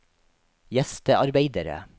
gjestearbeidere